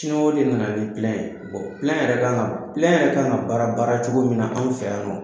Siniwaw de nana nin ye yɛrɛ kan ka baara baara cogo min na anw fɛ yan nɔ